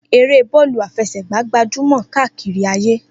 Eré bọ́ọ̀lù àfẹsẹ̀gbá gbajúmọ̀ kárí ayé.